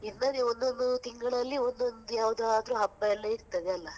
ಇರ್ತದೆ ಒಂದೊಂದು ತಿಂಗಳಲ್ಲಿ ಒಂದೊಂದು ಯಾವದಾದ್ರು ಹಬ್ಬಯೆಲ್ಲ ಇರ್ತದೆ ಅಲ್ಲ?